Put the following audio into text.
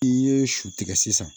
I ye su tigɛ sisan